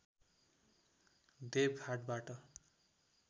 देबघाटबाट